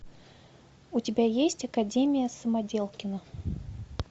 у тебя есть академия самоделкина